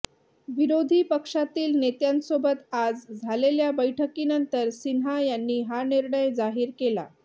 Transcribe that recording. विरोधी पक्षातील नेत्यांसोबत आज झालेल्या बैठकीनंतर सिन्हा यांनी हा निर्णय जाहीर केला